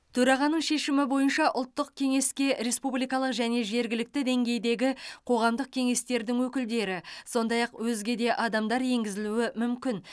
төрағаның шешімі бойынша ұлттық кеңеске республикалық және жергілікті деңгейдегі қоғамдық кеңестердің өкілдері сондай ақ өзге де адамдар енгізілуі мүмкін